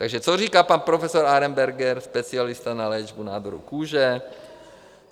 Takže co říká pan profesor Arenberger, specialista na léčbu nádorů kůže?